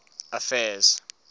affairs